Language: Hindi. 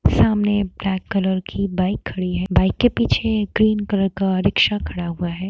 सामने ब्लैक कलर की बाइक खड़ी है बाइक के पीछे ग्रीन कलर का रिक्शा खड़ा हुआ है।